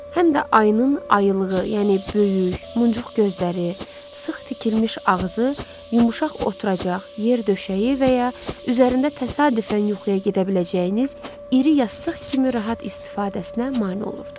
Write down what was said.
Həm də ayının ayılığı, yəni böyük, muncuq gözləri, sıx tikilmiş ağzı, yumşaq oturacaq, yer döşəyi və ya üzərində təsadüfən yuxuya gedə biləcəyiniz iri yastıq kimi rahat istifadəsinə mane olurdu.